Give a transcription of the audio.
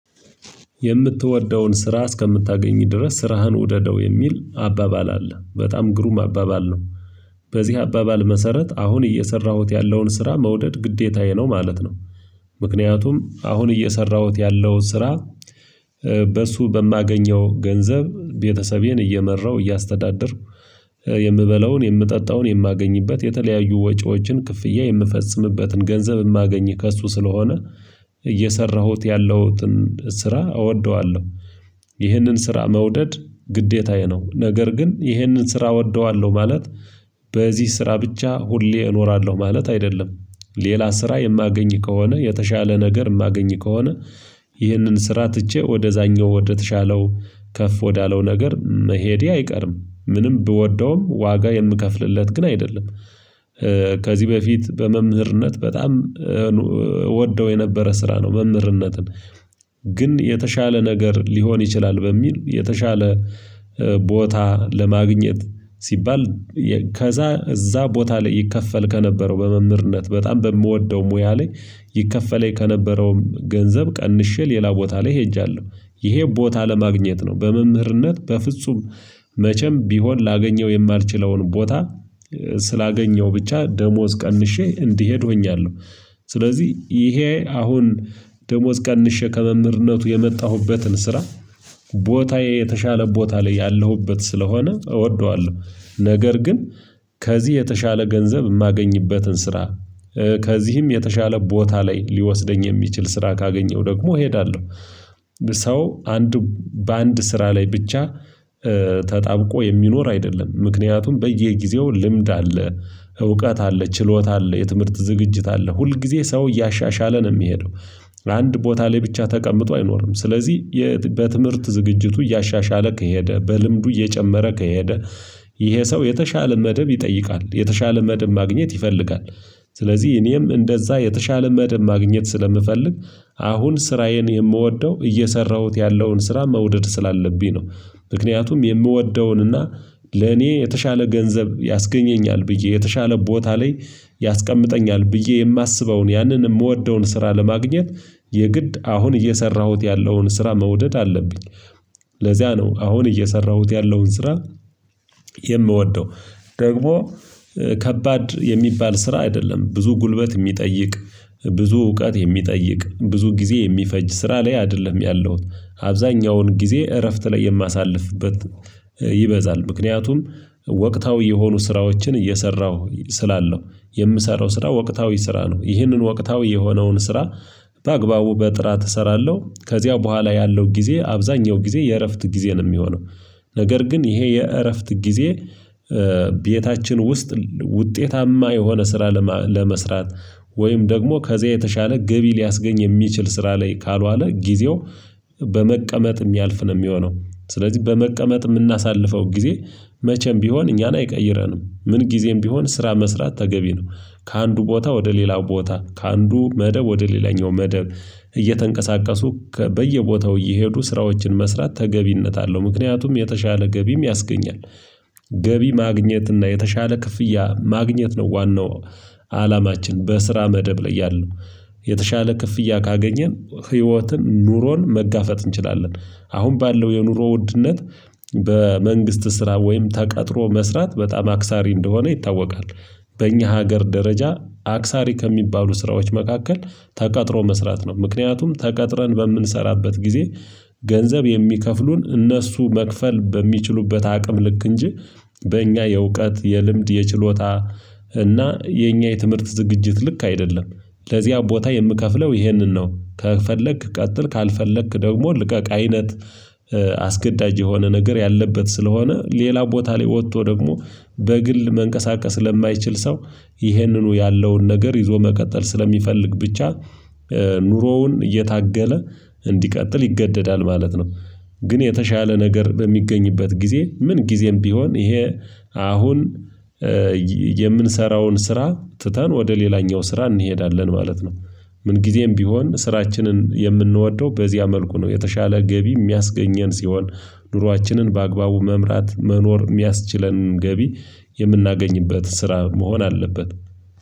የምትወደውን ስራ እስከምታገኝ ድረስ ስራህን ውደደው የሚል አባባል አለ በጣም ግሩም አባባል ነው። በዚህ አባባል መሰረት አሁን እየሰራሁት ያለውን ስራ መውደድ ግዴታዬ ነው ማለት ነው። ምክንያቱም አሁን እየሰራሁት ያለው ስራ። በእሱ በማገኘው ገንዘብ ቤተሰቤን እየመራሁ እያስተዳደርኩ። የምበላውን የምጠጣውን የማገኝበት የተለያዩ ወጪዎችን ክፍያ የምፈጽምበትን ገንዘብ ማገኝ ከእሱ ስለሆነ። እየሰራሁት ያለሁትን ስራ እወደዋለሁ። ይህንን ስራ መውደድ ግዴታዬ ነው። ነገር ግን ይህንን ስራ እወደዋለሁ ማለት በዚህ ስራ ብቻ ሁሌ እኖራለሁ ማለት አይደለም። ሌላ ስራ የማገኝ ከሆነ የተሻለ ነገር ማገኝ ከሆነ። ይህንን ስራ ትቼ ወደዛኛው ወደተሻለው ከፍ ወዳለው ነገር መሄዴ አይቀርም ምንም ብወደውም ዋጋ የምከፍልለት ግን አይደለም። ከዚህ በፊት በመምህርነት በጣም ወደው የነበረ ስራ ነው። መምህርነትን ግን የተሻለ ነገር ሊሆን ይችላል በሚል የተሻለ ቦታ ለማግኘት ሲባል። ከዛ እዛ ቦታ ላይ ይከፈል ከነበረው በመምህርነት በጣም በምወደው ሙያ ላይ ይከፈለኝ ከነበረውም ገንዘብ ቀንሼ ሌላ ቦታ ላይ ሄጃለሁ። ይሄ ቦታ ለማግኘት ነው በመምህርነት በፍጹም መቼም ቢሆን ላገኘው የማልችለውን ቦታ ስላገኘው ብቻ ደሞዝ ቀንሼ እንዲሄድ ሆኛለሁ። ስለዚህ እሄ አሁን ደሞዝ ቀንሼ ከመምህርነቱ የመጣሁበትን ስራ ቦታዬ የተሻለ ቦታ ላይ ያለሁበት ስለሆነ እወደዋለሁ። ነገር ግን ከዚህ የተሻለ ገንዘብ ማገኝበትን ስራ ከዚህም የተሻለ ቦታ ላይ ሊወስደኝ የሚችል ስራ ካገኘሁ ደግሞ እሄዳለሁ። ሰው አንድ በአንድ ስራ ላይ ብቻ ተጣብቆ የሚኖር አይደለም። ምክንያቱም በየጊዜው ልምድ አለ እውቀት አለ ችሎታ አለ የትምህርት ዝግጅት አለ ሁል ጊዜ ሰው እያሻሻለ ነው ሚሄደው። አንድ ቦታ ላይ ብቻ ተቀምጦ አይኖርም ስለዚህ። በትምህርት ዝግጅቱ እያሻሻለ ከሄደ በልምዱ እየጨመረ ከሄደ። ይሄ ሰው የተሻለ መደብ ይጠይቃል የተሻለ መደብ ማግኘት ይፈልጋል። ስለዚህ እኔም እንደዛ የተሻለ መደብ ማግኘት ስለምፈልግ። አሁን ስራዬን የምወደው እየሰራሁት ያለውን ስራ መውደድ ስላለብኝ ነው። ምክንያቱም የምወደውን እና ለኔ የተሻለ ገንዘብ ያስገኘኛል ብዬ የተሻለ ቦታ ላይ ያስቀምጠኛል ብዬ የማስበውን ያንን ምወደውን ስራ ለማግኘት የግድ አሁን እየሰራሁት ያለውን ስራ መውደድ አለብኝ። ለዚያ ነው አሁን እየሰራሁት ያለውን ስራ። የምወደው ደግሞ ከባድ የሚባል ስራ አይደለም። ብዙ ጉልበት ሚጠይቅ ብዙ እውቀት የሚጠይቅ ብዙ ጊዜ የሚፈጅ ስራ ላይ አይደለም ያለውት። አብዛኛውን ጊዜ እረፍት ላይ የማሳልፍበት ይበዛል ምክንያቱም ወቅታዊ የሆኑ ስራዎችን እየሰራሁ ስላለው። የምሰራው ስራ ወቅታዊ ስራ ነው ይህንን ወቅታዊ የሆነውን ስራ በአግባቡ በጥራት እሰራለሁ ከዚያው በኋላ ያለው ጊዜ አብዛኛው ጊዜ የእረፍት ጊዜ ነው ሚሆነው። ነገር ግን ይሄ የእረፍት ጊዜ ቤታችን ውስጥ ውጤታማ የሆነ ስራ ለመስራት ወይም ደግሞ ከዚያ የተሻለ ገቢ ሊያስገኝ የሚችል ስራ ላይ ካልዋለ ጊዜው። በመቀመጥ ሚያልፍ ነው ሚሆነው ስለዚህ በመቀመጥ ምናሳልፈው ጊዜ መቼም ቢሆን እኛን አይቀይረንም ምን ጊዜም ቢሆን ስራ መስራት ተገቢ ነው። ከአንዱ ቦታ ወደ ሌላው ቦታ ከአንዱ መደብ ወደ ሌላኛው መደብ። እየተንቀሳቀሱ በየቦታው እየሄዱ ስራዎችን መስራት ተገቢነት አለው ምክንያቱም የተሻለ ገቢም ያስገኛል። ገቢ ማግኘት እና የተሻለ ክፍያ ማግኘት ነው ዋናው አላማችን በስራ መደብ ላይ ያለው የተሻለ ክፍያ ካገኘን ህይወትን ኑሮን መጋፈጥ እንችላለን። አሁን ባለው የኑሮ ውድነት በመንግስት ስራ ወይም ተቀጥሮ መስራት በጣም አክሳሪ እንደሆነ ይታወቃል። በእኛ ሀገር ደረጃ አክሳሪ ከሚባሉ ስራዎች መካከል። ተቀጥሮ መስራት ነው ምክንያቱም ተቀጥረን በምንሰራበት ጊዜ። ገንዘብ የሚከፍሉን እነሱ መክፈል በሚችሉበት አቅም ልክ እንጂ በእኛ የእውቀት የልምድ የችሎታ እና የኛ የትምህርት ዝግጅት ልክ አይደለም። ለዚያ ቦታ የምከፍለው ይሄንን ነው ከፈለክ ቀጥል ካልፈለክ ደግሞ ልቀቅ አይነት። አስገዳጅ የሆነ ነገር ያለበት ስለሆነ ሌላ ቦታ ላይ ወቶ ደግሞ በግል መንቀሳቀስ ለማይችል ሰው። ይህንኑ ያለውን ነገር ይዞ መቀጠል ስለሚፈልግ ብቻ ኑሮውን እየታገለ እንዲቀጥል ይገደዳል ማለት ነው። ግን የተሻለ ነገር በሚገኝበት ጊዜ ምን ጊዜም ቢሆን ይሄ አሁን የምንሰራውን ስራ ትተን ወደ ሌላኛው ስራ እንሄዳለን ማለት ነው። ምን ጊዜም ቢሆን ስራችንን የምንወደው በዚያ መልኩ ነው የተሻለ ገቢ ሚያስገኘን ሲሆን ኑሯችንን በአግባቡ መምራት መኖር ሚያስችለን ገቢ። የምናገኝበት ስራ መሆን አለበት።